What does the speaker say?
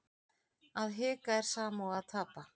Að hika er sama og að tapa